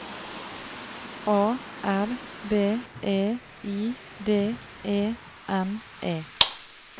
A R B E I D E N E